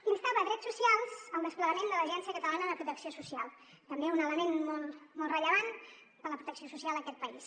instaven drets socials al desplegament de l’agència catalana de protecció social també un element molt rellevant per a la protecció social d’aquest país